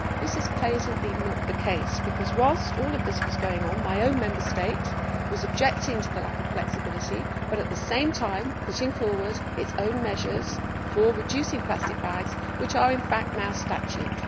This is patently not the case because, whilst all of this was going on, my own Member State was objecting to the lack of flexibility but, at the same time, putting forward its own measures for reducing plastic bags, which are in fact now statute.